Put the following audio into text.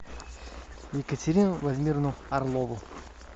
екатерину владимировну орлову